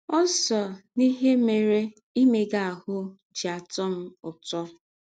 Ọ sọ n’ihe mere imega ahụ́ ji atọ m ụtọ.